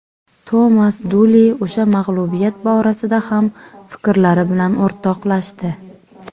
Tomas Duli o‘sha mag‘lubiyat borasida ham fikrlari bilan o‘rtoqlashdi.